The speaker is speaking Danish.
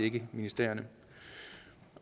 ikke ministerierne